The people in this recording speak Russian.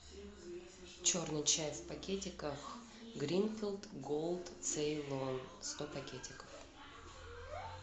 черный чай в пакетиках гринфилд голд цейлон сто пакетиков